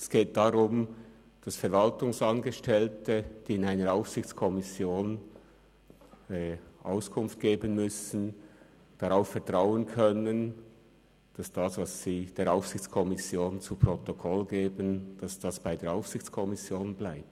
Es geht darum, dass Verwaltungsangestellte, die in einer Aufsichtskommission Auskunft geben müssen, darauf vertrauen können, dass das, was sie der Aufsichtskommission zu Protokoll geben, bei der Aufsichtskommission bleibt.